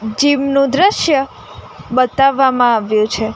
Gym નું દ્રશ્ય બતાવવામાં આવ્યું છે.